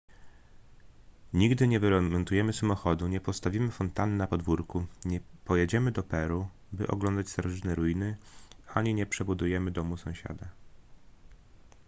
nigdy nie wyremontujemy samochodu nie postawimy fontanny na podwórku nie pojedziemy do peru by oglądać starożytne ruiny ani nie przebudujemy domu sąsiada